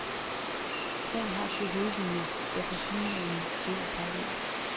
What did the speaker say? Sagen har to hovedlinjer, der tilsyneladende løber parallelt.